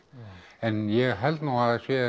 en ég held nú að það sé